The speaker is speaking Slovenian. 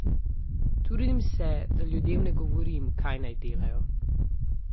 Trudim se, da ljudem ne govorim, kaj naj delajo.